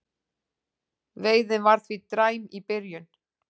Veiðin var því dræm í byrjun